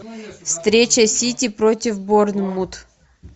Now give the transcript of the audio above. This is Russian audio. встреча сити против борнмут